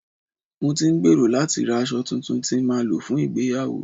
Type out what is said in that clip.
Mo ti ń gbèrò láti ra aṣọ tuntun tí màá lò fún ìgbéyàwó